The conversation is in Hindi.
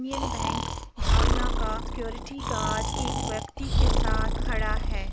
यूनियन बैंक भावना का सिक्योरिटी गार्ड एक व्यक्ति के साथ खड़ा है।